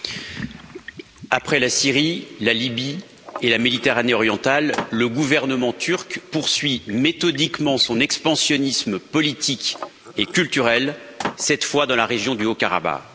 Monsieur le Président, après la Syrie, la Libye et la Méditerranée orientale, le gouvernement turc poursuit méthodiquement son expansionnisme politique et culturel, cette fois dans la région du Haut Karabakh.